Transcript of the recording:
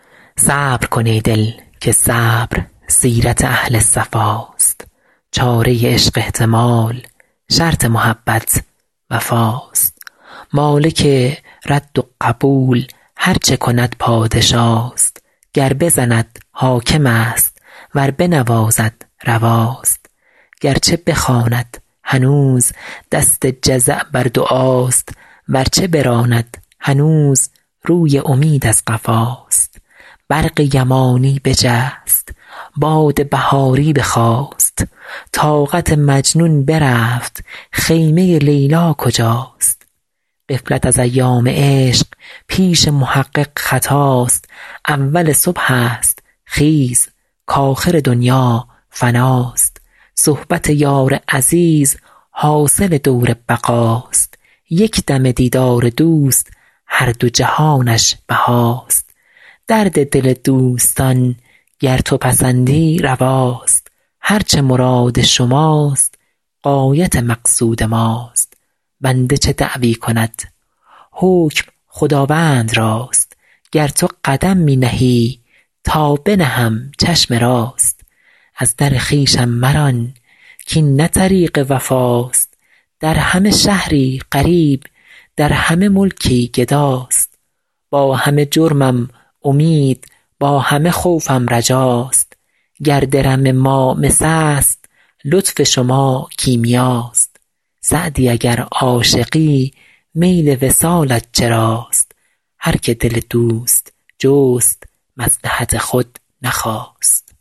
صبر کن ای دل که صبر سیرت اهل صفاست چاره عشق احتمال شرط محبت وفاست مالک رد و قبول هر چه کند پادشاست گر بزند حاکم است ور بنوازد رواست گر چه بخواند هنوز دست جزع بر دعاست ور چه براند هنوز روی امید از قفاست برق یمانی بجست باد بهاری بخاست طاقت مجنون برفت خیمه لیلی کجاست غفلت از ایام عشق پیش محقق خطاست اول صبح است خیز کآخر دنیا فناست صحبت یار عزیز حاصل دور بقاست یک دمه دیدار دوست هر دو جهانش بهاست درد دل دوستان گر تو پسندی رواست هر چه مراد شماست غایت مقصود ماست بنده چه دعوی کند حکم خداوند راست گر تو قدم می نهی تا بنهم چشم راست از در خویشم مران کاین نه طریق وفاست در همه شهری غریب در همه ملکی گداست با همه جرمم امید با همه خوفم رجاست گر درم ما مس است لطف شما کیمیاست سعدی اگر عاشقی میل وصالت چراست هر که دل دوست جست مصلحت خود نخواست